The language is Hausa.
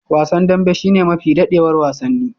Wasan dambe shine mafi dadewar wasanni.